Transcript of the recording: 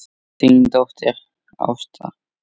Þín dóttir Ásta.